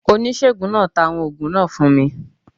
Onisegun naa ta awọn oògùn naa fun mi.